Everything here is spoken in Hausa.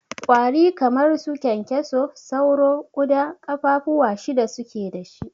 Ƙwari kamar su kyankyaso, sauro, ƙuda kafa fuwa shida suke dashi.